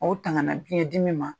Aw tangana biyɛn dimi ma